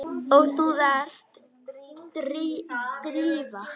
Og þú ert Drífa?